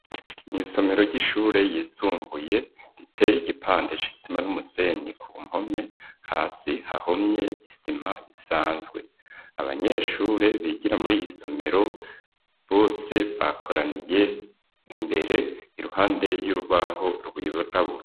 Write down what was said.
Mw’isomero ry'ishure yisumbuye, riteye igipande c'isima n'umusenyi ku mpome, hasi hahomye isima isanzwe, abanyeshure bigira muri iyi somero bose bakoraniye imbere, iruhande y'urubaho rwirabura.